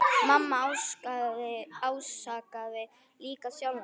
Mamma ásakaði líka sjálfa sig.